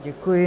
Děkuji.